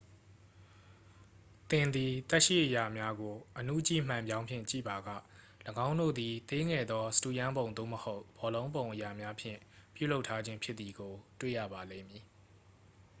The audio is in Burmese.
သင်သည် သက်ရှိအရာများကို အဏုကြည့်မှန်ပြောင်းဖြင့်ကြည့်ပါက ၎င်းတို့သည် သေးငယ်သော စတုရန်းပုံ သို့မဟုတ် ဘောလုံးပုံအရာများဖြင့် ပြုလုပ်ထားခြင်းဖြစ်သည်ကို တွေ့ရပါလိမ့်မည်